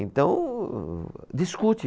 Então, discute.